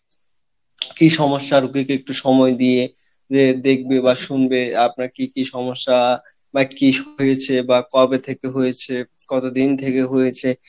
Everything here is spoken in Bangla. কি সমস্যার দিকে একটু সময় দিয়ে যে দেখবে বা শুনবে আপনার কী কী সমস্যা বা কী হয়েছে বা কবে থেকে হয়েছে কত দিন থেকে হয়েছে